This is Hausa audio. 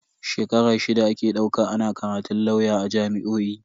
Shekara shida ake dauka ana karatun lauya a jami'o'i.